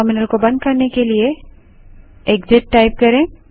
इस टर्मिनल को बंद करने के लिए एक्सिट टाइप करें